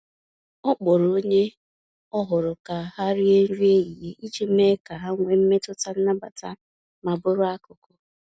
Ọ kpọrọ onye ọhụrụ ka ha rie nri ehihie iji mee ka ha nwee mmetụta nnabata ma bụrụ akụkụ.